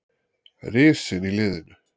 Risinn í liðinu.